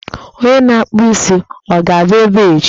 Onye na-akpụ isi, ọ ga-abịa ebe a echi?